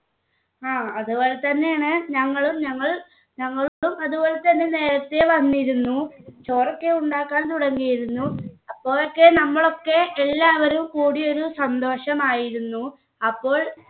ആ അതുപോലെതന്നെയാണ് ഞങ്ങളും ഞങ്ങളും ഞങ്ങൾക്കും അതുപോലെ നേരത്തെ വന്നിരുന്നു ചോറൊക്കെ ഉണ്ടാക്കാൻ തുടങ്ങിയിരുന്നു അപ്പോളൊക്കെ നമ്മളൊക്കെ എല്ലാവരും കൂടി ഒരു സന്തോഷമായിരുന്നു അപ്പോൾ